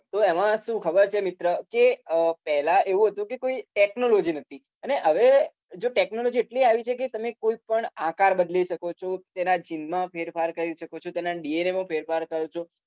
તો એમાં શું ખબર છે મિત્ર કે પેલા એવું હતું કે કોઈ technology નતી અને હવે જો technology એટલી આવી છે કે તમે કોઈપણ આકાર બદલી શકો છે તેના gene માં ફેરફાર કરી શકો છે તેના DNA માં ફેરફાર કરો છો